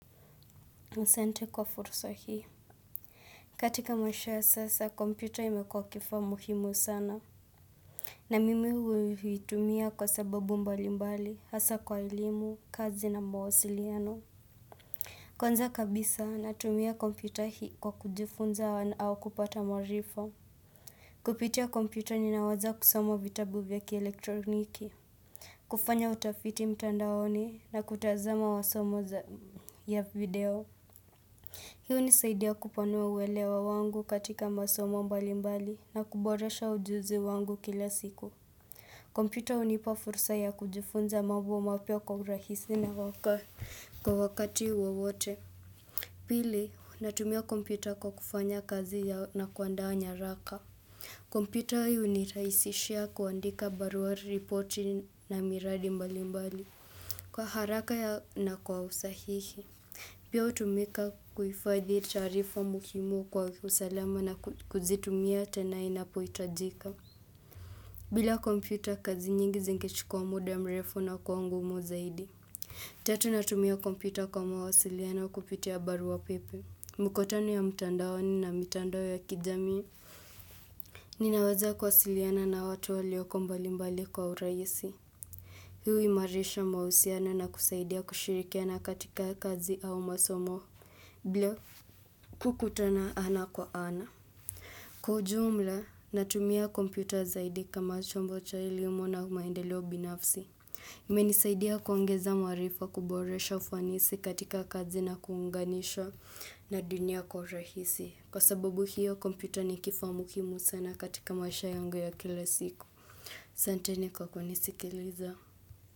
Asante kwa fursa hii katika maisha ya sasa, kompyuta imekwa kifaa muhimu sana na mimi huitumia kwa sababu mbali mbali, hasa kwa elimu, kazi na mawasiliano Kwanza kabisa na tumia kompyuta hii kwa kujifunza au kupata maarifa Kupitia kompyuta ninaweza kusoma vitabu vya kielektroniki kufanya utafiti mtandaoni na kutazama masomo ya video Hii nisaidia kupanua uwelewa wangu katika masomo mbali mbali na kuboresha ujuzi wangu kila siku. Kompyuta hunipa fursa ya kujifunza mambo mapya kwa rahisi na waka. Kwa wakati wowote, pili, natumia kompyuta kwa kufanya kazi ya na kuandaa nyaraka. Kompyuta hii hunirahisishia kuandika baruari ripoti na miradi mbali mbali kwa haraka na kwa usahihi. Pia utumika kuhifadhi taarifa muhimu kwa usalama na kuzitumia tena inapohitajika. Bila kompyuta kazi nyingi zinge chukua muda mrefu na kuwa ngumu zaidi. Tatu natumia kompyuta kwa mawasiliano kupitia barua pepe. Mikutano ya mtandao ni na mitandao ya kijami ninaweza kuwasiliana na watu walioko mbalimbali kwa uraisi. Hii huimarisha mahusiano na kusaidia kushirikia na katika kazi au masomo. Bila. Kukutana ana kwa ana Kwa jumla, natumia kompyuta zaidi kama chombo cha elimu na maendeleo binafsi imenisaidia kuongeza maarifa kuboresha ufanisi katika kazi na kuunganisha na dunia kwa rahisi Kwa sababu hiyo, kompyuta ni kifamukimu sana katika maisha yangu ya kila siku asanteni kwa kunisikiliza.